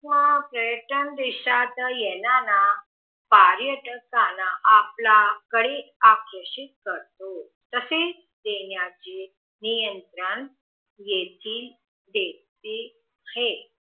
या पर्यटन देशात येताना पर्यटकांना आपल्या कडे आकर्षित करतो, तसेच देण्याचे नियंत्रन येथील देते हे.